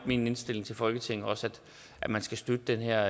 min indstilling til folketinget også at man skal støtte den her